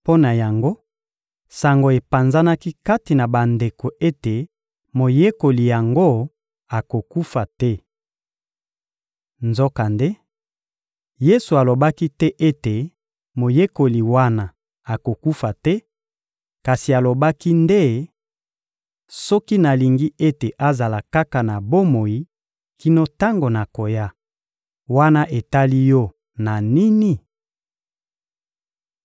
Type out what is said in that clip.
Mpo na yango, sango epanzanaki kati na bandeko ete moyekoli yango akokufa te. Nzokande, Yesu alobaki te ete moyekoli wana akokufa te, kasi alobaki nde: «Soki nalingi ete azala kaka na bomoi kino tango nakoya, wana etali yo na nini?»